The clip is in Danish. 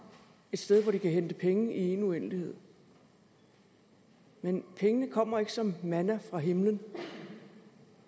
et sted hvor de kan hente penge i én uendelighed men pengene kommer ikke som manna fra himlen